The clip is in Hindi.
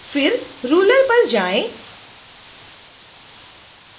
फिर रुलर पर जाएँ